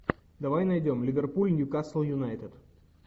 давай найдем ливерпуль ньюкасл юнайтед